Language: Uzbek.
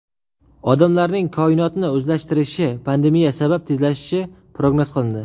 Odamlarning koinotni o‘zlashtirishi pandemiya sabab tezlashishi prognoz qilindi.